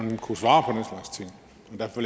på